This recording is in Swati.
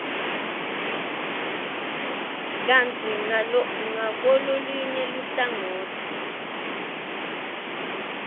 kantsi ngakulolunye luhlangotsi